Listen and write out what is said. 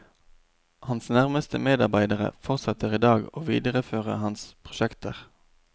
Hans nærmeste medarbeidere fortsetter i dag å videreføre hans prosjekter.